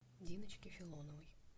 диночке филоновой